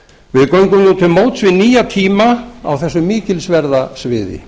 við göngum nú til móts við nýja tíma á þessu mikilsverða sviði